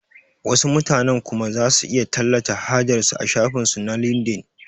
Wasu mutanen kuma zasu iya tallata hajar su a shafin su na lindin